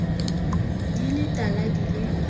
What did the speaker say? di le tala di le